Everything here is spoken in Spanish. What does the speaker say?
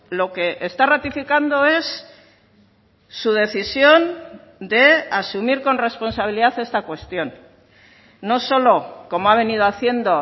lo que está ratificando es su decisión de asumir con responsabilidad esta cuestión no solo como ha venido haciendo